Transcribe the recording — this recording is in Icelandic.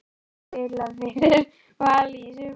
Hverjir spila fyrir Val í sumar?